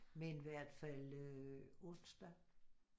Men hvert fald øh onsdag